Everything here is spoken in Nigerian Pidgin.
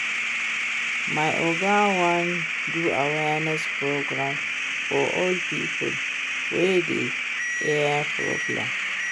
My Oga wan do awareness program for old people wey get eye problem